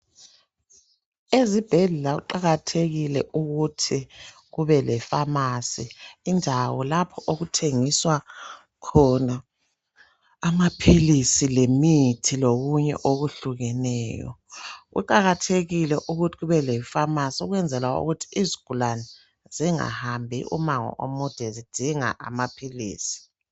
Ezibhedlela kuqakathekile ukuthi kube lefamasi indawo lapho okuthengiswa khona amaphilisi lemithi lokunye okwehluke neyo kuqakathekile ukuthi kube le famasi ukwenzela ukuthi izigulani zingahambi umango omude zidinga amaphilisi.